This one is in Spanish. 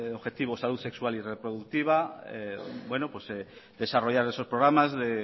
objetivo salud sexual y reproductiva desarrollar esos programas de